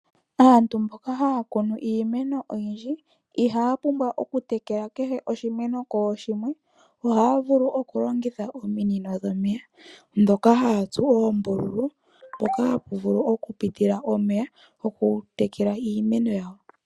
Aantu mboka haya kunu iimeno oyindji, ihaya pumbwa oku tekela kehe oshimeno kooshimwe, ohaya vulu oku longitha ominino dhomeya, ndhoka haya tsu oombululu, mpoka hapu vulu oku pitila omeya goku tekela iimeno yawo.